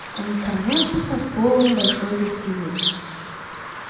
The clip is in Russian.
они хранятся под полом большой гостиной